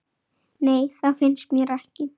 Nei, það finnst mér ekki.